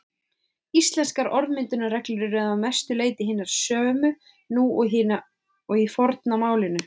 Íslenskar orðmyndunarreglur eru að mestu leyti hinar sömu nú og í forna málinu.